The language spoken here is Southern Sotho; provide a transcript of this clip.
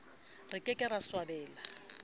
re ke ke ra swabela